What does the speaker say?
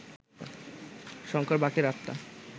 শঙ্কর বাকি রাতটা